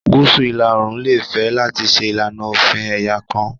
Gúúsù ìlà-oòrùn lè fẹ́ láti ṣe ìlànà òfin ẹ̀yà kan